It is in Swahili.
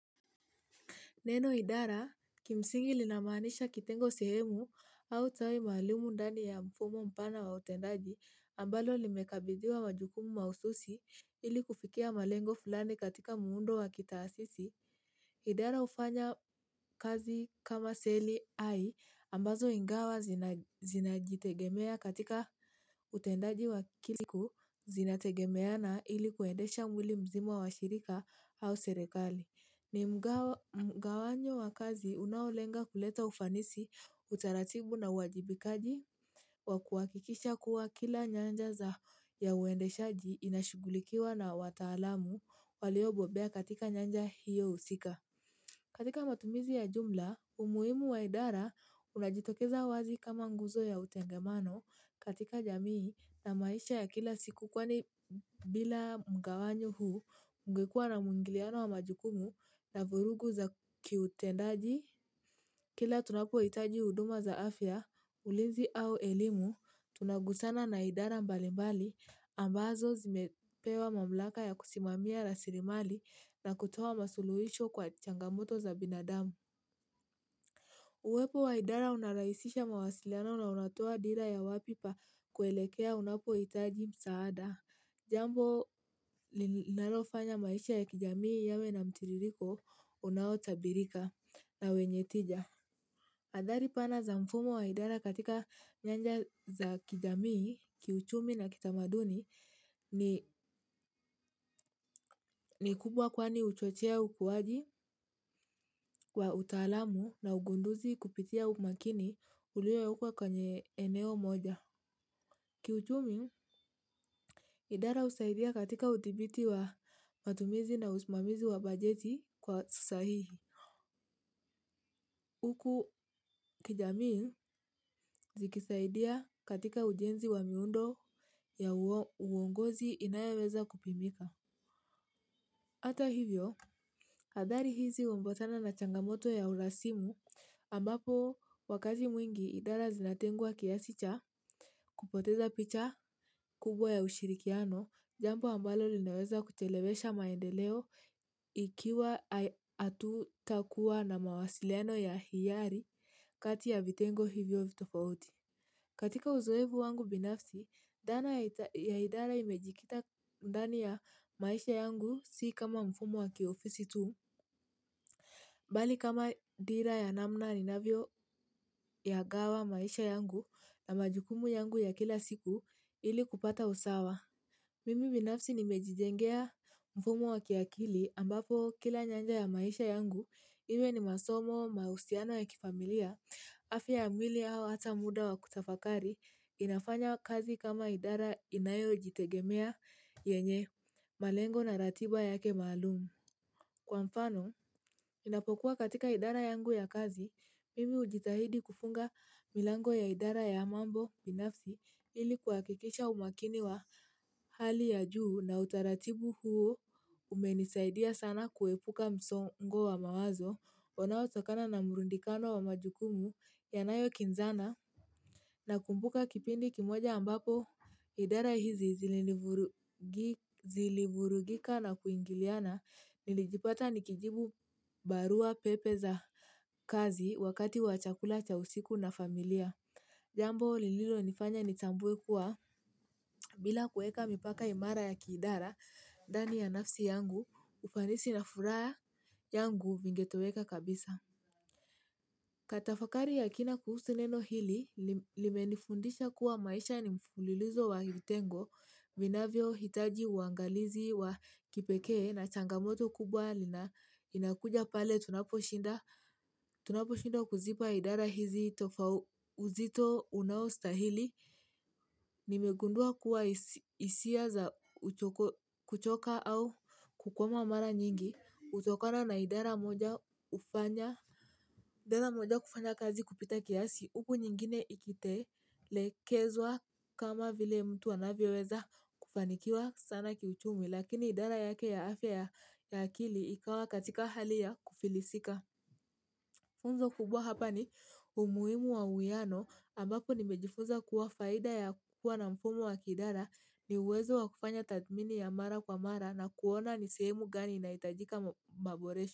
Neno idara kimsingi linamanisha kitengo sehemu au tawai mahalimu ndani ya mfumo mpana wa utendaji ambalo limekabiziwa majukumu maususi ili kufikia malengo fulani katika muundo wa kitasisi. Idara ufanya kazi kama seli ai ambazo ingawa zina jitegemea katika utendaji wa kiliku zinategemeana ili kuendesha mwili mzimo wa shirika au serekali. Ni mgawanyo wakazi unaulenga kuleta ufanisi utaratibu na wajibikaji wa kuwakikisha kuwa kila nyanja za ya uende shaji inashugulikiwa na watalamu waliobobea katika nyanja hiyo usika. Katika matumizi ya jumla, umuimu wa idara unajitokeza wazi kama nguzo ya utengemano katika jamii na maisha ya kila siku kwani bila mga wanyo huu ungekua na mungiliano wa majukumu na vurugu za kiutendaji. Kila tunapohitaji huduma za afya ulinzi au elimu tunaguzana na idara mbalimbali ambazo zimepewa mamlaka ya kusimamia rasilimali na kutoa masuluhisho kwa changamoto za binadamu. Uwepo wa idara unaraisisha mawasiliano na unatoa dira ya wapipa kuelekea unapowa itaji msaada. Jambo linalofanya maisha ya kijamii yawe na mtiririko unaho tabirika na wenyetija. Athari pana za mfumo wa idara katika nyanja za kijamii kiuchumi na kitamaduni ni ni kubwa kwani uchochea ukuwaji wa utalamu na ugunduzi kupitia umakini ulio ya ukwa kwenye eneo moja. Kiyuchumi, idara usaidia katika utibiti wa matumizi na usmamizi wa bajeti kwa susahihi. Uku kijamii zikisaidia katika ujenzi wa miundo ya uongozi inayeweza kupimika. Ata hivyo, hadhari hizi umbatana na changamoto ya urasimu ambapo wakati mwingi idara zinatengua kiasicha kupoteza picha kubwa ya ushirikiano jambo ambalo linaweza kuchelewesha maendeleo ikiwa atu takua na mawasiliano ya hiyari kati ya vitengo hivyo vitofauti. Katika uzoevu wangu binafsi, dana ya idara imejikita mdani ya maisha yangu si kama mfumo waki ofisi tu. Bali kama dira ya namna ni navyo ya gawa maisha yangu na majukumu yangu ya kila siku ili kupata usawa. Mimi binafsi nimejijengea mfumo waki akili ambapo kila nyanja ya maisha yangu iwe ni masomo mausiano ya kifamilia. Afi ya mwili hawa hata muda wa kutafakari inafanya kazi kama idara inayojitegemea yenye malengo na ratiba yake maalum. Kwa mfano, ninapokuwa katika idara yangu ya kazi, mimi ujitahidi kufunga milango ya idara ya mambo binafzi ilikuakikisha umakiniwa hali ya juu na utaratibu huo umenisaidia sana kuepuka msongo wa mawazo. Wanao tokana na murundikano wa majukumu yanayo kinzana na kumbuka kipindi kimoja ambapo idara hizi zilivurugika na kuingiliana nilijipata nikijibu barua pepe za kazi wakati wachakula cha usiku na familia jambo lililo nifanya nitambuwe kuwa bila kueka mipaka imara ya kidara dani ya nafsi yangu ufanisi na furaya yangu vingetoweka kabisa. Kata fakari ya kina kuhusu neno hili, limenifundisha kuwa maisha ni mfulilizo wa vitengo, vinavyo hitaji uangalizi wa kipekee na changamoto kubwa lina inakuja pale tunaposhinda, tunaposhinda kuzipa idara hizi tofau uzito unaostahili, nimegundua kuwa hisia za kuchoka au kukwama mara nyingi, hutokana na idara moja hufanya, idara moja kufanya kazi kupita kiasi, upo nyingine ikitelekezwa kama vile mtu anavyoweza kufanikiwa sana kiuchumi lakini idara yake ya afya ya akili ikawa katika hali ya kufilisika. Funzo kubwa hapa ni umuhimu wa uwiano ambapo nimejifunza kuwa faida ya kuwa na mfumo wa kiidara ni uwezo wa kufanya tathmini ya mara kwa mara na kuona ni sehemu gani inahitajika maboresho.